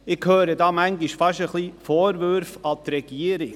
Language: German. Ich höre manchmal fast ein wenig Vorwürfe an die Regierung.